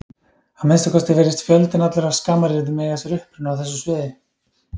Að minnsta kosti virðist fjöldinn allur af skammaryrðum eiga sér uppruna á þessu sviði.